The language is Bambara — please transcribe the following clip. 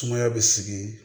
Sumaya bɛ sigi